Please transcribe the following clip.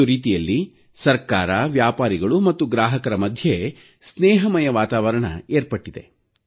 ಒಂದು ರೀತಿಯಲ್ಲಿ ಸರ್ಕಾರ ಮತ್ತು ವ್ಯಾಪಾರಿಗಳು ಮತ್ತು ಗ್ರಾಹಕರ ಮಧ್ಯೆ ಸ್ನೇಹಮಯ ವಾತಾವರಣ ಏರ್ಪಟ್ಟಿತ್ತು